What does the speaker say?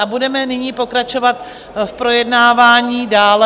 A budeme nyní pokračovat v projednávání dále.